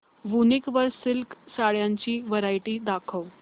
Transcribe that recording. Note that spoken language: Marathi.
वूनिक वर सिल्क साड्यांची वरायटी दाखव